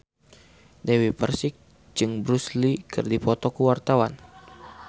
Dewi Persik jeung Bruce Lee keur dipoto ku wartawan